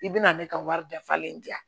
I bɛna ne ka wari dafalen di yan